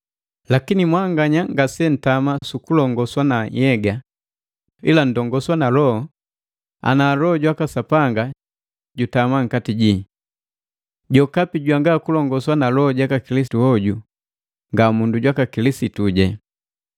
Lakini mwanganya ngase ntama sukulongoswa na nhyega, ila nndongoswa na Loho, ana Loho jwaka Sapanga jutama nkati jii. Jokapi jwangakuba na Loho jaka Kilisitu hoju nga mundu jwaka Kilisituje.